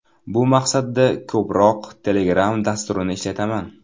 Bu maqsadda ko‘proq Telegram dasturini ishlataman.